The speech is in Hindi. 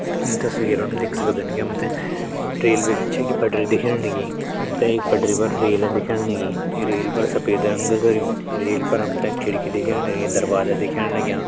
यीं तस्वीरम दिख सकदन की हमथे रेलवे की छिन की पटरी दिखेण लगी हमथे इक पटरी पर रेलन दिखेण लगी रेल फर सफेद रंग कर्यु रेल पर हमते खिड़की दिखेण लगी दरवाजा दिखेण लग्या।